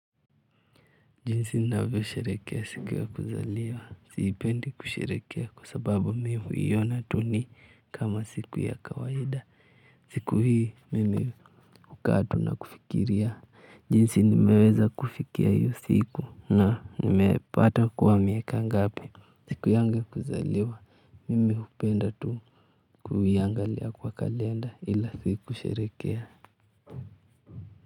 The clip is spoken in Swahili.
Jinsi ninavyosherehekea siku ya kuzaliwa. Sipendi kusherehekea kwa sababu mi huiona tu ni kama siku ya kawaida. Siku hii mimi hukaa tu na kufikiria. Jinsi nimeweza kufikia hiyo siku na nimepata kuwa miaka ngapi. Siku yangu ya kuzaliwa. Mimi hupenda tu kuiangalia kwa kalenda ila si kusherehekea.